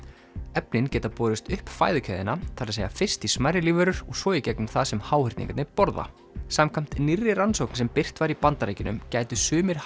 efnin geta borist upp fæðukeðjuna það segja fyrst í smærri lífverur og svo í gegnum það sem háhyrningarnir borða samkvæmt nýrri rannsókn sem birt var í Bandaríkjunum gætu sumir